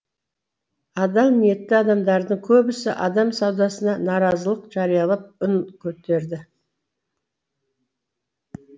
адал ниетті адамдардың көбісі адам саудасына наразылық жариялап үн көтерді